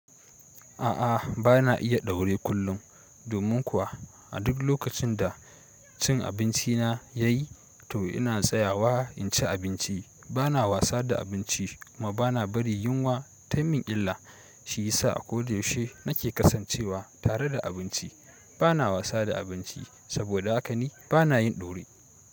A'a, ba na iya daure kullum. Domin kuwa, a duk lokacin da cin abinci na ya yi, to ina tsayawa in ci abinci. Bana wasa da abinci, kuma bana bari yunwa tayi mun illa. Shi yasa a ko da yaushe na ke kasancewa tare da abinci. Ba na wasa da abinci saboda haka ni ba na yin daure.